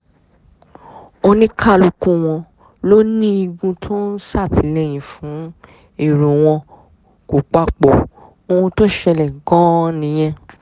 ó ní kálukú wọn ló ní igun tó ń ṣàtìlẹ́yìn fún èrò wọn kò papọ̀ ohun tó ṣẹlẹ̀ gan-an nìyẹn